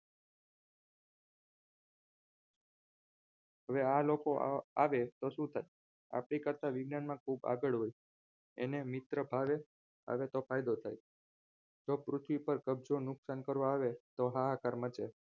હવે આ લોકો આવે તો શું થાય આપણી કરતા વિજ્ઞાનમાં ખૂબ આગળ હોય એને મિત્ર ભાવે આવે તો ફાયદો થાય તો પૃથ્વી પર કબજો નુકસાન કરવા આવે તો હાહાકાર મચે